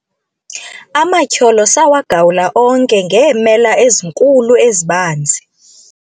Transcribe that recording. amatyholo sawagawula onke ngeemela ezinkulu ezibanzi